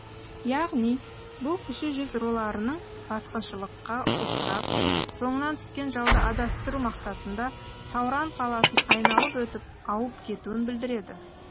яғни бұл кіші жүз руларының басқыншылыкқа ұшырап соңынан түскен жауды адастыру мақсатында сауран қаласын айналып өтіп ауып кетуін білдіреді